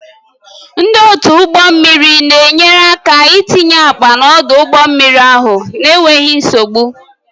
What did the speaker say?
Ndị otu ụgbọ mmiri na-enyere aka itinye akpa n'ọdụ ụgbọ mmiri ahụ n'enweghị nsogbu.